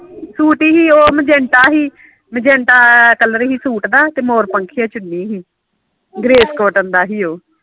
suit ਹੀ ਉਹ magenta ਹੀ ਮਜੰਟਾ ਕਲਰ ਹੀ ਸੂਟ ਦਾ ਤੇ ਮੋਰ ਪੰਖੀਆ ਚੁੰਨੀ ਹੀ ਗ੍ਰੇਸ ਕੋਟਨ ਦਾ ਹੀ ਓ